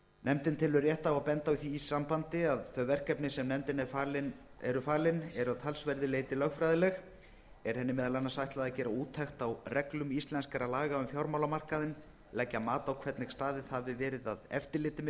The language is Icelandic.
nefndin telur rétt að benda á í því sambandi að þau verkefni sem nefndinni eru falin eru að talsverðu leyti lögfræðileg er henni meðal annars ætlað að gera úttekt á reglum íslenskra laga um fjármálamarkaðinn leggja mat á hvernig staðið hafi verið að eftirliti með